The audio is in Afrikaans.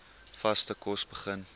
vaste kos begin